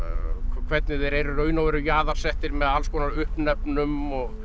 hvernig þeir eru í raun með alls konar uppnefnum og